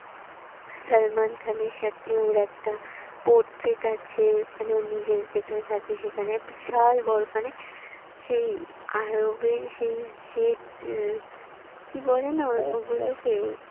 সালমান খানের সাথে ওর একটা portrait আছে মানে ও নিজে যেখানে থাকে সেখানে বিশাল বড়ো মানে সেই আরবে কি বলে না ও গুলোকে